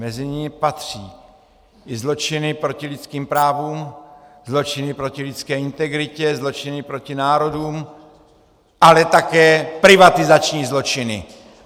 Mezi ně patří i zločiny proti lidským právům, zločiny proti lidské integritě, zločiny proti národům, ale také privatizační zločiny.